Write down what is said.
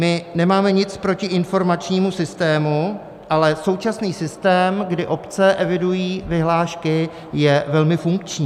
My nemáme nic proti informačnímu systému, ale současný systém, kdy obce evidují vyhlášky, je velmi funkční.